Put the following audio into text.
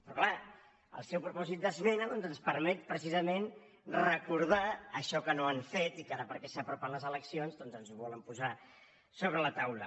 però clar el seu propòsit d’esmena doncs ens permet precisament recordar això que no han fet i que ara perquè s’apropen les eleccions ens volen posar sobre la taula